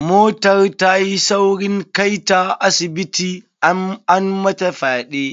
Motar ta yi saurin kai ta asibiti, an mata fyaɗe.